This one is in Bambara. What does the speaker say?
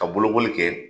Ka bolokoli kɛ